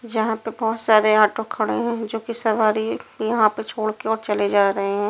जहां पे बहुत सारे ऑटो खड़े हैं जो कि सवारी यहां पे छोड़ के चले जा रहे हैं।